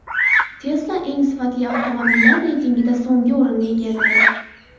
Tesla eng sifatli avtomobillar reytingida so‘nggi o‘rinni egalladi.